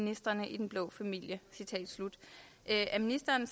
ministrene i den blå familie er ministeren